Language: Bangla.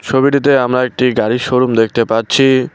ছবিটিতে আমরা একটি গাড়ির শোরুম দেখতে পাচ্ছি।